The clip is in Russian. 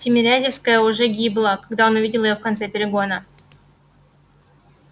тимирязевская уже гибла когда он увидел её в конце перегона